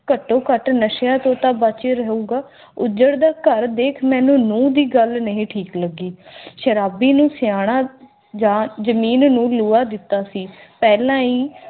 ਘੱਟੋ ਘੱਟ ਨਸ਼ਿਆਂ ਤੋਂ ਤਾਂ ਬਾਕੀ ਰਹੀ ਗੱਲ ਕਰਦੇ ਮੈਨੂੰ ਮੂੰਹ ਦੀ ਗੱਲ ਨਹੀਂ ਠੀਕ ਲੱਗੀ